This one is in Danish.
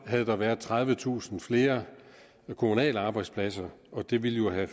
havde der været tredivetusind flere kommunale arbejdspladser og det ville jo have